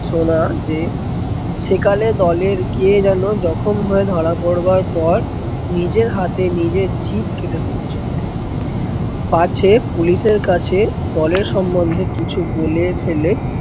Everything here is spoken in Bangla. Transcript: শোনা যে, সেকালে দলের কে যেন জখম হয়ে ধরা পড়বার পর নীজের হাতে নীজের জিভ কেটে ফেলেছিলো। পাছে পুলিশের কাছে দলের সম্বন্ধে কিছু বলে ফেলে।